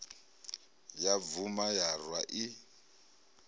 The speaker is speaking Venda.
ya bvuma ya rwa i